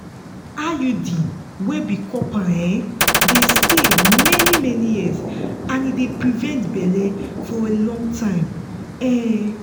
iud wey be copper um dey stay many-many years and e dey prevent belle for long time. um